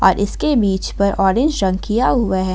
अ इसके बीच पर ऑरेंज रंग किया हुआ है।